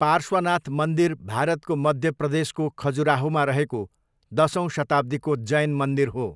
पार्श्वनाथ मन्दिर भारतको मध्य प्रदेशको खजुराहोमा रहेको दसौँ शताब्दीको जैन मन्दिर हो।